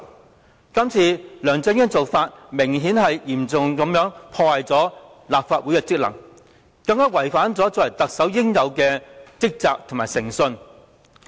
梁振英今次的做法，顯然嚴重破壞了立法會的職能，更違反了作為特首應有的職責及誠信。